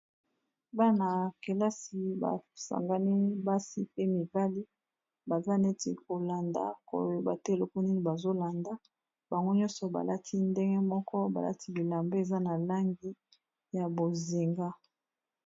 Bana kelasi basangani basi pe mibali baza neti kolanda koyeba te eloko nini bazolanda bango nyonso balati ndenge moko balati bilambe eza na langi ya bozinga.